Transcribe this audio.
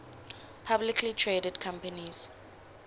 publicly traded companies